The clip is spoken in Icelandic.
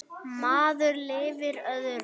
Maður lifir öðrum.